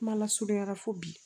Kuma lasurunyala fo bi